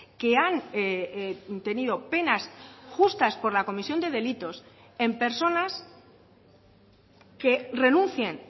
que han tenido penas justas por la comisión de delitos en personas que renuncien